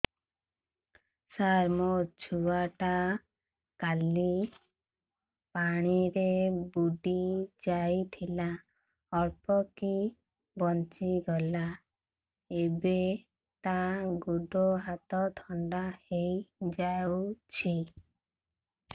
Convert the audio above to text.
ସାର ମୋ ଛୁଆ ଟା କାଲି ପାଣି ରେ ବୁଡି ଯାଇଥିଲା ଅଳ୍ପ କି ବଞ୍ଚି ଗଲା ଏବେ ତା ଗୋଡ଼ ହାତ ଥଣ୍ଡା ହେଇଯାଉଛି